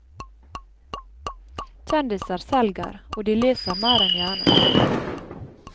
Kjendiser selger, og de leser mer enn gjerne.